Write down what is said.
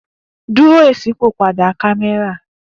Duro iṣipopada kamẹra